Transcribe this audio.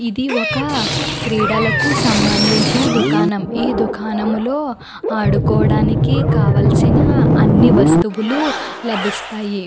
ఇది ఒక క్రీడలకి సమందించిన దుకాణం ఈ దుకాణం లో ఆడుకోవడానికి కావలిసిన అని వస్తువులు లభిస్తాయి.